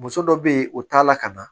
Muso dɔ be yen o t'a la ka na